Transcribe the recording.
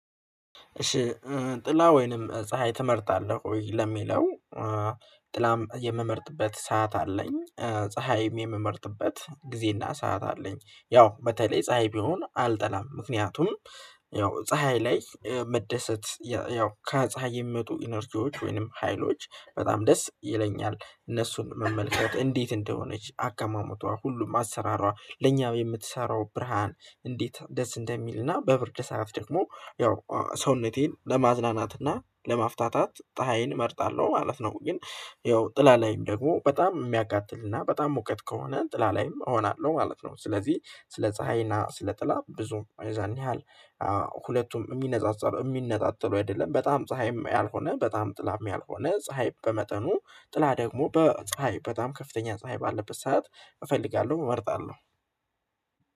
እሺ ጥላ ወይንም ፀሀይ ትመርጣለህ ወይ? ለሚለው ጥላም የምመርጥበት ሰዓት አለኝ ፀሀይም የምመርጥበት ጊዜና ሰዓት አለኝ ያው በተለይ ፀሀይ ቢሆን አልጠላም ምክንያቱም ያው ፀሀይ ላይ መደሰት ያው ከፀሀይ የሚመጡ ኢነርጂዎች ወይንም ሀይሎች በጣም ደስ ይለኛል እነሱን መመልከት እንዴት እንደሆነች አቀማመጧ ሁሉም አሰራሯ ለኛ የምትሰራው ብርሃን እንዴት ደስ እንደሚልና በብርድ ሰዓት ደግሞ ያው ሰውነቴን ለማዝናናት እና ለማፍታታት ፀሀይን እመርጣለሁ ማለት ነው። ግን ይኸው ጥላ ላይም ደግሞ በጣም የሚያቃጥልና በጣም ሙቀት ከሆነ ጥላ ላይም እሆናለሁ ማለት ነው። ስለዚህ ስለ ፀሀይና ስለ ጥላ ብዙም ያን ያህል ሁለቱም የሚነጻጸሩ የሚነጣጥሉ አይደለም። በጣም ፀሀይም ያልሆነ በጣም ጥላም ያልሆነ ፀሀይ በመጠኑ ጥላ ደግሞ በፀሀይ በጣም ከፍተኛ ፀሀይ ባለበት ሰዓት እፈልጋለሁ እመርጣለሁ